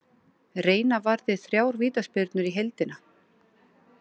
Reina varði þrjár vítaspyrnur í heildina.